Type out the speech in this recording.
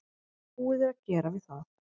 Búið er að gera við það.